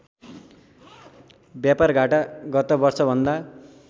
व्यापारघाटा गत वर्षभन्दा